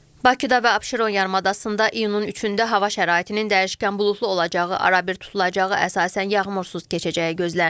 Bakıda və Abşeron yarımadasında iyulun 3-də hava şəraitinin dəyişkən buludlu olacağı, arabir tutulacağı, əsasən yağmursuz keçəcəyi gözlənilir.